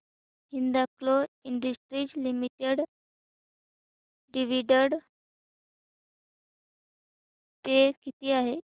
Hindalco industries limited dividend पे किती आहे